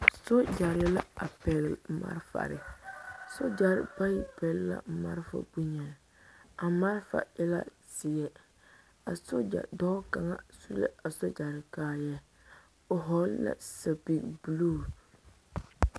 Sogyɛre la a pɛgle malfare sogyɛre bayi pɛgle la malfa bonyeni a malfa e la zeɛ a sogya dɔɔ kaŋa su la a sogyɛre kaayaa o hɔɔle la sɛpige bluu.